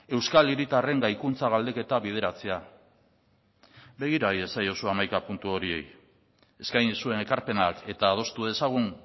euskal hiritarren gaikuntza galdeketa bideratzea begira iezaiozu hamaika puntu horiei eskaini zuen ekarpenak eta adostu dezagun